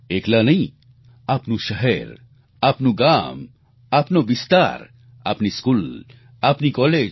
એકલા નહીં આપનું શહેર આપનું ગામ આપનો વિસ્તાર આપની સ્કૂલ આપની કોલેજ